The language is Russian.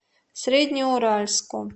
среднеуральску